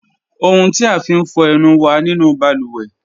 Ọ̀huǹ ti a fín fọ ẹ̀nù wà nínu bàlúwẹ̀